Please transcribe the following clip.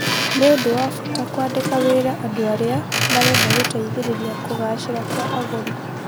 Nĩ ũndũ wa bata kũandĩka wĩra andũ arĩa marenda gũteithĩrĩria kũgaacĩrawa kwa agũri.